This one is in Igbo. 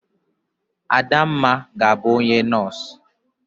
Adamma ga-abu onye nos.